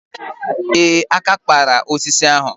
Ee, àkà kpara osisi ahụ.